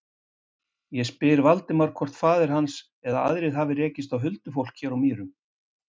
Ég spyr Valdimar hvort faðir hans eða aðrir hafi rekist á huldufólk hér á Mýrum.